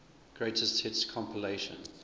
greatest hits compilation